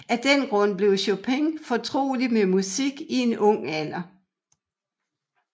Af den grund blev Chopin fortrolig med musik i en ung alder